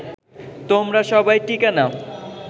তোমরা সবাই টিকা নাও